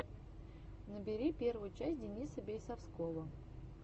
набери первую часть дениса бейсовского